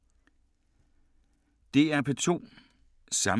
DR P2